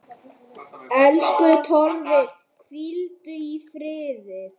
Elsku Torfi, hvíldu í friði.